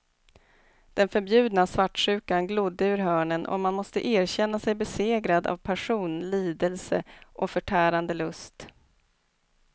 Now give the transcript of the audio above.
Den förbjudna svartsjukan glodde ur hörnen och man måste erkänna sig besegrad av passion, lidelse och förtärande lust.